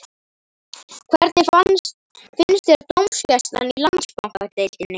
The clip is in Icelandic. Hvernig finnst þér dómgæslan í Landsbankadeildinni?